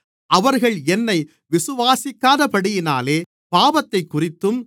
அவர்கள் என்னை விசுவாசிக்காதபடியினாலே பாவத்தைக்குறித்தும்